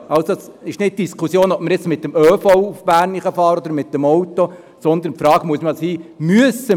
Die Diskussion ist nicht, ob wir jetzt mit dem ÖV nach Bern fahren oder mit dem Auto, sondern die Frage muss sein: